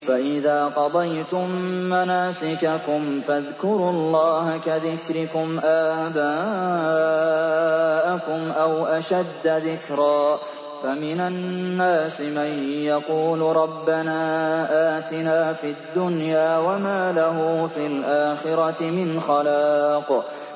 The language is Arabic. فَإِذَا قَضَيْتُم مَّنَاسِكَكُمْ فَاذْكُرُوا اللَّهَ كَذِكْرِكُمْ آبَاءَكُمْ أَوْ أَشَدَّ ذِكْرًا ۗ فَمِنَ النَّاسِ مَن يَقُولُ رَبَّنَا آتِنَا فِي الدُّنْيَا وَمَا لَهُ فِي الْآخِرَةِ مِنْ خَلَاقٍ